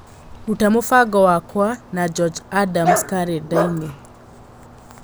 ruta mũbango wakwa na George Adams karenda-inĩ